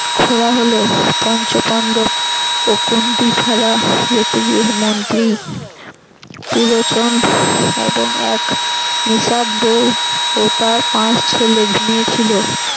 খোড়া হল পঞ্চপান্ডব ও কুন্তি ছাড়া মন্ত্রী পুরোচন এবং এক বউ ও তার পাঁচ ছেলে ঘুমিয়ে ছিল।